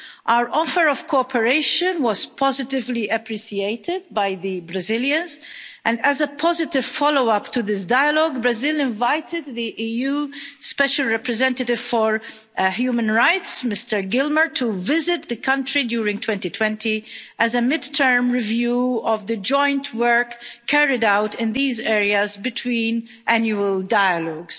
Our offer of cooperation was positively appreciated by the Brazilians, and as a positive follow up to this dialogue, Brazil invited the EU Special Representative for Human Rights, Mr Gilmore, to visit the country during 2020 as a mid term review of the joint work carried out in these areas between annual dialogues.